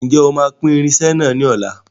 Ǹjẹ́ o sì máa pín irinsẹ́ náà ni ọ̀la?